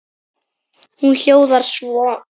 Hún hljóðar svo: